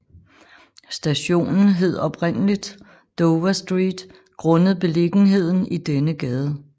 Stationen hed oprindeligt Dover Street grundet beliggenheden i denne gade